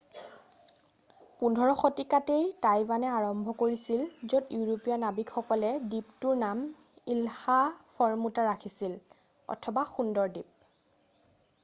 15 শতিকাতেই টাইৱানে আৰম্ভ কৰিছিল য'ত ইউৰোপীয়া নাৱিকসকলে দ্বীপটোৰ নাম ইলহা ফৰমুটা ৰাখিছিল অথবা সুন্দৰ দ্বীপ